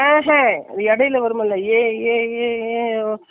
இல்ல அதுதான் வந்துட்டு notclear